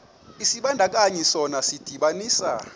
isibandakanyi sona sidibanisa